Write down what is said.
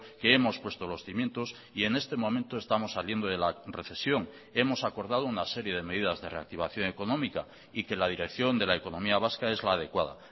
que hemos puesto los cimientos y en este momento estamos saliendo de la recesión hemos acordado una serie de medidas de reactivación económica y que la dirección de la economía vasca es la adecuada